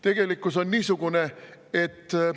Tegelikkus on niisugune, et …